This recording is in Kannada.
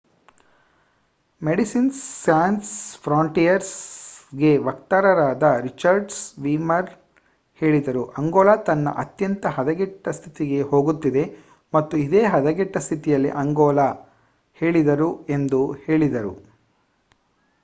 ಮೆಡಿಸಿನ್ಸ್ ಸ್ಯಾನ್ಸ್ ಫ್ರಾಂಟಿಯರ್ ಗೆ ವಕ್ತಾರರಾದ ರಿಚರ್ಡ್ ವೀರ್ಮೆನ್ ಹೇಳಿದರು:"ಅಂಗೋಲ ತನ್ನ ಅತ್ಯಂತ ಹದಗೆಟ್ಟ ಸ್ಥಿತಿಗೆ ಹೋಗುತ್ತಿದೆ ಮತ್ತು ಇದೇ ಹದಗೆಟ್ಟ ಸ್ಥಿತಿಯಲ್ಲಿ ಅಂಗೋಲಾ ಹೇಳಿದರು, ಎಂದು ಹೇಳಿದರು